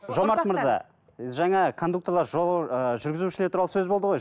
жомарт мырза жаңа кондукторлар ыыы жүргізушілер туралы сөз болды ғой